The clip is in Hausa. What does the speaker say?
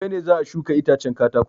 Gobe ne za a shuka itacen katakon.